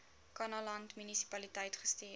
kannaland munisipaliteit gestuur